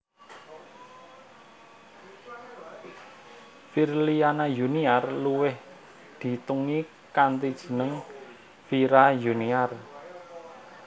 Virliana Yuniar luwih diteungi kanthi jeneng Vira Yuniar